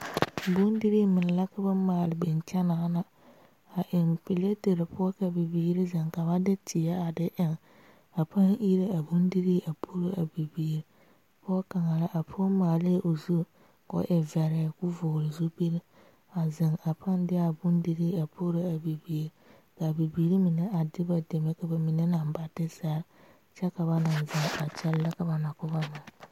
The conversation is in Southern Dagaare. Bondire meŋ la ka ba maale biŋ kyɛ naana a eŋ piletere poɔ ka bibiiri zeŋ ka ba de teɛ eŋ a paa iri a bondire a poro a bibiiri pɔge kaŋa la a pɔge maale o zu ko e vɛre ko vɔgle zupele a zeŋ a paa diea bondire a poro a bibiiri kaa bibiiri mine a de ba deme ka bamine naŋ ba de sere kyɛ ka ba naŋ zeŋ a kyɛle ka ba na ko ba meŋ.